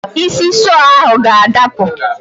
Isi sọọ ahụ ga-adapụ.